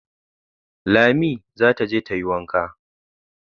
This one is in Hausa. Lami za ta je tayi Wanka